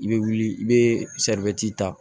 I bɛ wuli i bɛ ta